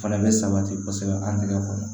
Fana bɛ sabati kosɛbɛ an tɛgɛ kɔnɔ